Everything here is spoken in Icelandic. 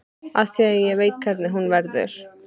Af því ég veit hvernig hún verður.